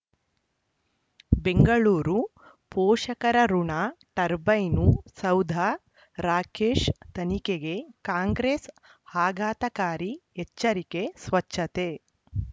ಬೆಂಗಳೂರು ಪೋಷಕರಋಣ ಟರ್ಬೈನು ಸೌಧ ರಾಕೇಶ್ ತನಿಖೆಗೆ ಕಾಂಗ್ರೆಸ್ ಆಘಾತಕಾರಿ ಎಚ್ಚರಿಕೆ ಸ್ವಚ್ಛತೆ